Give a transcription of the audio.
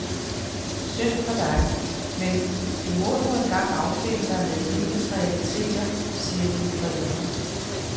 Synd for dig, men du må nu engang affinde dig med livets realiteter, siger dine forældre.